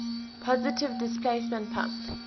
positive displacement pump